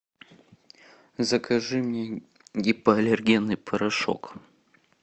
закажи мне гипоаллергенный порошок